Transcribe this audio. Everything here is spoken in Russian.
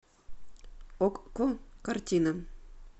окко картина